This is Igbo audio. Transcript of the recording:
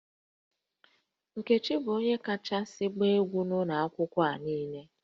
Nkechi bụ onye kachasị agba egwu n'ụlọ akwụkwọ a niile